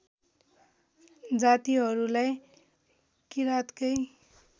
जातिहरूलाई किराँतकै